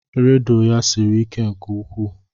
Rịdụ ya siri ike nke ukwuu.